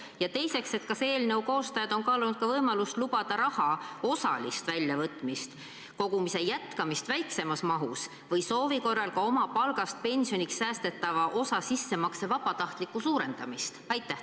Ja teiseks: kas eelnõu koostajad on kaalunud ka võimalust lubada raha osalist väljavõtmist, kogumise jätkamist väiksemas mahus või soovi korral ka oma palgast pensioniks säästetava osa sissemakse vabatahtlikku suurendamist?